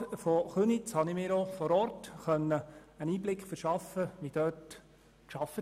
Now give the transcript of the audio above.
Als Gemeinderat von Köniz konnte ich mir vor Ort einen Einblick in die Arbeitsweise der Spitex verschaffen.